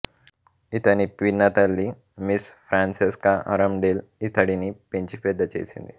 ఇతని పినతల్లి Miss Francesca Arundel ఇతడిని పెంచి పెద్దచేసింది